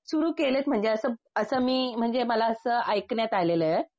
सुरु केलेत म्हणजे असं मी म्हणजे मला असं ऐकण्यात आलं आहे.